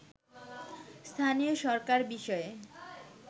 স্থানীয় সরকার বিষয়ে